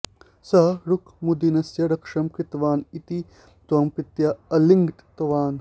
सः रुक्मुद्दीनस्य रक्षणं कृतवान् इति तं प्रीत्या आलिङ्गितवान्